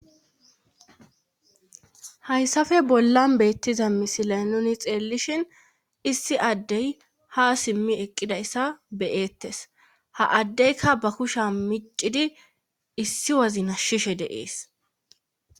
hayssappe bollan beettiza misilay nuni xeellishin issi addey ha simmi eqqidayssa beyeettes ha addeyka ba kusha miccidi issi wazi nashshishe deees